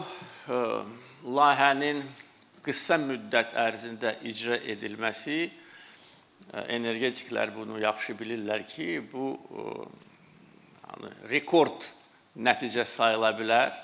Bu layihənin qısa müddət ərzində icra edilməsi energetiklər bunu yaxşı bilirlər ki, bu rekord nəticə sayıla bilər.